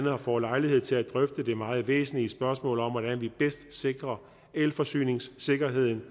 har fået lejlighed til at drøfte det meget væsentlige spørgsmål om hvordan vi bedst sikrer elforsyningssikkerheden